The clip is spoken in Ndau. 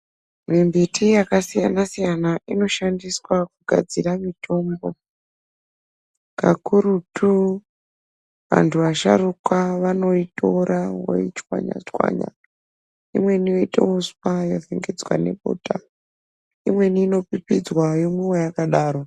Mimbiti yakasiyana siyana inoshandiswa kugadzire mitombo kakurutu vantu vasharuka vanoitora voichwanya chwanya imweni yoite uswa yovhingidzwa nefuta imweni inopipidzwa yomwiwa yakadaro.